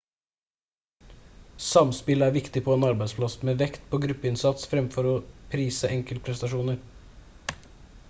samspill er viktig på en arbeidsplass med vekt på gruppeinnsats fremfor å prise enkeltprestasjoner